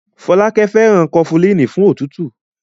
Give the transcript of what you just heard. Fọlákẹ́ fẹ́ràn Kọfulíìnì fún òtútù.